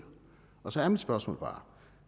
og så er mit spørgsmål bare